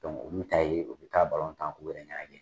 olu taa ye u bɛ taa k'u yɛrɛ ŋɛnajɛ.